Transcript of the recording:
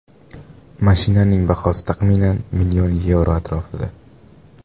Mashinaning bahosi, taxminan, million yevro atrofida.